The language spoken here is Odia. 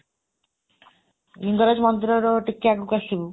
ଲିଙ୍ଗରାଜ ମନ୍ଦିରର ଟିକେ ଆଗକୁ ଆସିବୁ,